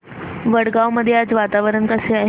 वडगाव मध्ये आज वातावरण कसे आहे